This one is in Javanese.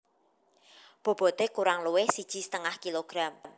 Bobote kurang luwih siji setengah kg